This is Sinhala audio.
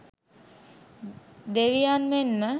දෙවියන් මෙන්ම